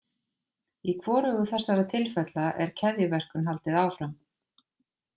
Í hvorugu þessara tilfella er keðjuverkun haldið áfram.